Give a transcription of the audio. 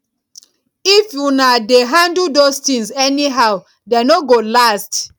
if una dey handle those things anyhow dey no go last